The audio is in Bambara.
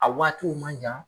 A waatiw man jan